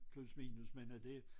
Plus minus men øh det